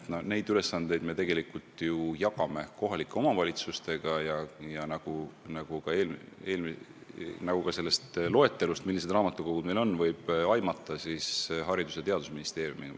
Me jagame neid ülesandeid kohalike omavalitsustega ning kooli- ja teadusraamatukogude puhul Haridus- ja Teadusministeeriumiga.